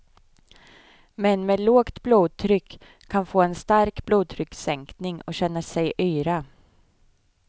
Män med lågt blodtryck kan få en stark blodtryckssänkning och känna sig yra.